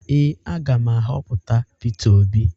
Ee, a ga m ahọpụta Peter Obi